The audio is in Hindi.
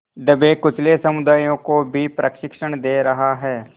दबेकुचले समुदायों को भी प्रशिक्षण दे रहा है